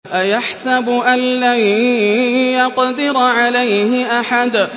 أَيَحْسَبُ أَن لَّن يَقْدِرَ عَلَيْهِ أَحَدٌ